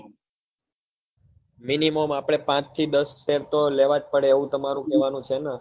minimum આપડે પાંચ થી દશ share તો લેવા જ પડે એવું તમારું કેવા નું છે ને